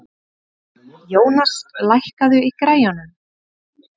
Jónas, lækkaðu í græjunum.